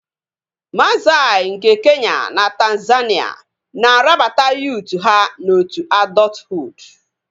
Massai nke Kenya na Tanzania na-arabata yuut ha n'otu adọthuud